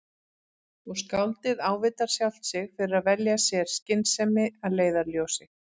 Og skáldið ávítar sjálft sig fyrir að velja sér skynsemi að leiðarljósi.